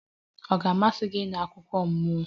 Ọ ga-amasị gị ịnụ akụkọ mmụọ?